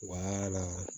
Wa na